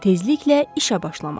Tezliklə işə başlamaq.